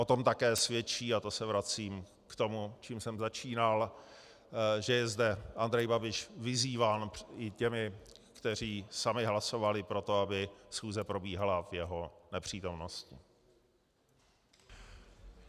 O tom také svědčí, a to se vracím k tomu, čím jsem začínal, že je zde Andrej Babiš vyzýván i těmi, kteří sami hlasovali pro to, aby schůze probíhala v jeho nepřítomnosti.